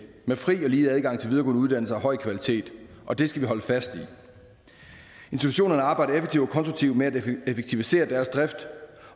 med fri og lige adgang til videregående uddannelse af høj kvalitet og det skal vi holde fast i institutionerne arbejder effektivt og konstruktivt med at effektivisere deres drift